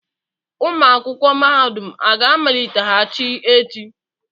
Ụlọ akwụkwọ mahadum a ga-amaliteghachi echi?